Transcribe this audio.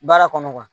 Baara kɔnɔ